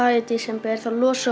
í desember þá losum